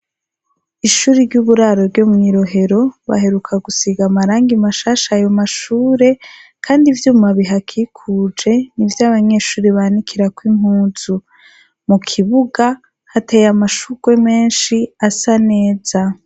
Ishure ry'uburaro ryo mw'Irohero baheruka gusiga amarangi mashasha ayo mashure kandi ivyuma bihakikuje nivyo abanyeshure banikirako inpuzu. Mu kibuga hateye amashugwe menshi asa neza.